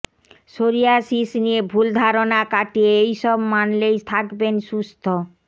psoriasis নিয়ে ভুল ধারণা কাটিয়ে এই সব মানলেই থাকবেন সুস্থ